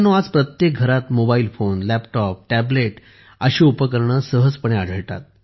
आज प्रत्येक घरात मोबाईल फोन लॅपटॉप टॅब्लेट अशी उपकरणे सहजपणे आढळतात